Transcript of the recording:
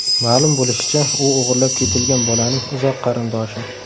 Ma’lum bo‘lishicha, u o‘g‘irlab ketilgan bolaning uzoq qarindoshi.